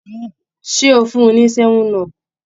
Ṣé o fún un ní 7up?